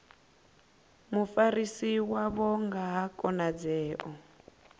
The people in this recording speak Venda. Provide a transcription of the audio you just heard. mufarisi wavho nga ha khonadzeo